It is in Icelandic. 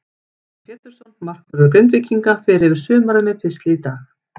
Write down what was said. Óskar Pétursson, markvörður Grindvíkinga, fer yfir sumarið með pistli í dag.